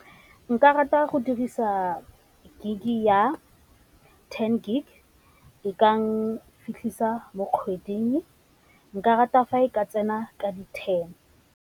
Nka rata go dirisa gig ya ten gig e ka nfitlhisa mo kgweding, nka rata fa e ka tsena ka di ten.